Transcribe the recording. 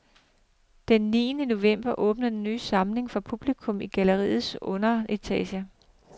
Den tiende november åbner den ny samling for publikum i galleriets underetage.